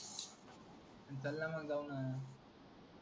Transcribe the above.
चल ना मंग जाऊ ना